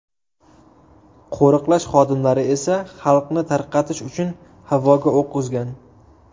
Qo‘riqlash xodimlari esa xalqni tarqatish uchun havoga o‘q uzgan.